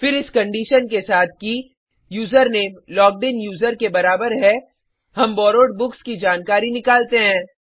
फिर इस कंडीशन के साथ कि यूजरनेम लॉग्ड इन यूज़र के बराबर है हम बोरोवेड बुक्स की जानकारी निकलते हैं